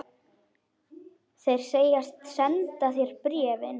Þeir segjast senda þér bréfin.